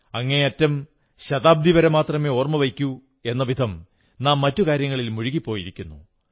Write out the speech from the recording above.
അങ്ങേയറ്റം ശതാബ്ദിവരെ മാത്രമേ ഓർമ്മവയ്ക്കൂ എന്ന വിധം നാം മറ്റു കാര്യങ്ങളിൽ മുഴുകിപ്പോയിരിക്കുന്നു